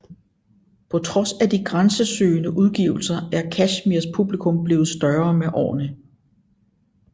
På trods af de grænsesøgende udgivelser er Kashmirs publikum blevet større med årene